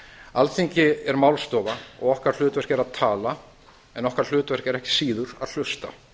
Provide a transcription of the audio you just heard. alþingi er málstofa og okkar hlutverk er að tala en okkar hlutverk er ekki síður að hlusta